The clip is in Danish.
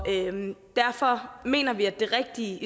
derfor mener vi at det rigtige